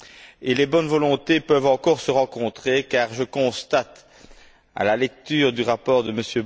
Et les bonnes volontés peuvent encore se rencontrer car je constate, à la lecture du rapport de M.